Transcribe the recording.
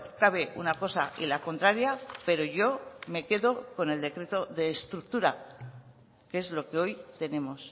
cabe una cosa y la contraria pero yo me quedo con el decreto de estructura que es lo que hoy tenemos